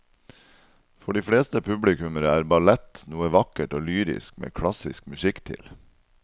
For de fleste publikummere er ballett noe vakkert og lyrisk med klassisk musikk til.